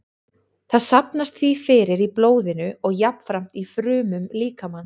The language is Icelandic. Það safnast því fyrir í blóðinu og jafnframt í frumum líkamans.